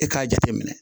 E k'a jate minɛ